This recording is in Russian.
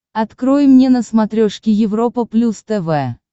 открой мне на смотрешке европа плюс тв